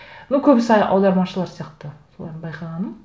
ну көбісі әлі аудармашылар сияқты солардың байқағаным